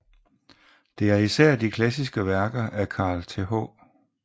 Det er især de klassiske værker af Carl Th